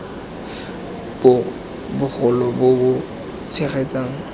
bo bogolo bo bo tshegetsang